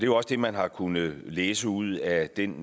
jo også det man har kunnet læse ud af den